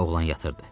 Oğlan yatırdı.